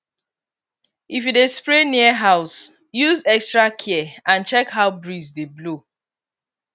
if you dey spray near house use extra care and check how breeze dey blow